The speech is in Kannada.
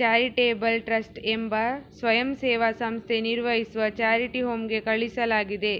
ಚಾರಿಟೇಬಲ್ ಟ್ರಸ್ಟ್ ಎಂಬ ಸ್ವಯಂಸೇವಾ ಸಂಸ್ಥೆ ನಿರ್ವಹಿಸುವ ಚಾರಿಟಿ ಹೋಮ್ಗೆ ಕಳುಹಿಸಲಾಗಿದೆ